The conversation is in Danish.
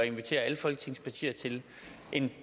invitere alle folketingets partier til en